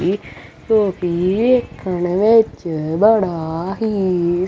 ਜੋ ਕਿ ਵੇਖਣ ਵਿੱਚ ਬੜਾ ਹੀ--